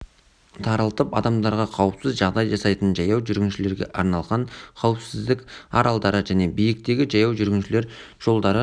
тарылтып адамдарға қауіпсіз жағдай жасайтын жаяу жүргіншілерге арналған қауіпсіздік аралдары және биіктегі жаяу жүргіншілер жолдары